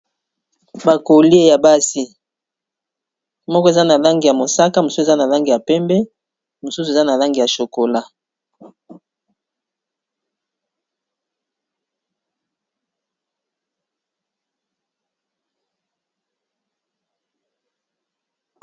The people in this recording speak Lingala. Ba Colliers ya basi, moko eza na langi ya mosaka, mosusu eza na langi ya pembe , mosusu eza na langi ya chocola .